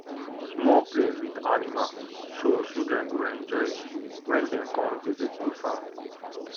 small place with animals so children go enjoy when dem come visit the farm